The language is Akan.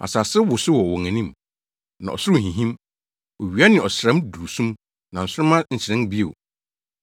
Asase wosow wɔ wɔn anim, na ɔsoro hinhim. Owia ne ɔsram duru sum, na nsoromma nhyerɛn bio.